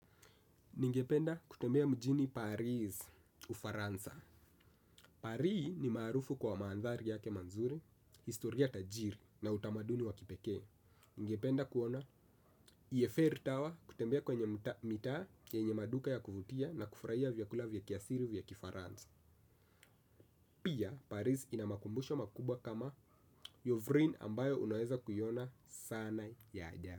Ningependa kutembea mjini Paris ufaransa Paris ni maarufu kwa manthari yake manzuri, historia tajiri na utamaduni wa kipekee. Ningependa kuona, eifell tower kutembea kwenye mitaa yenye maduka ya kuvutia na kufraia vyakula vya kiasiri vya kifaransa. Pia, Paris ina makumbusho makubwa kama yovrine ambayo unaweza kuiona sana ya ajabu.